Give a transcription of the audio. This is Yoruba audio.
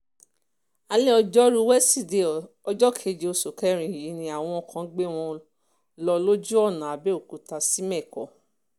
alẹ́ ọjọ́rùú wẹsídẹ̀ẹ́ ọjọ́ keje oṣù kẹrin yìí ni àwọn kan gbé wọn lọ lójú ọ̀nà àbẹ́ọ́kútà sìmẹ̀kọ